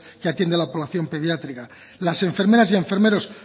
que atiende a la población pediátrica las enfermeras y enfermeros